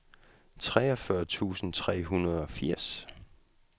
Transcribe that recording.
treogfyrre tusind tre hundrede og firs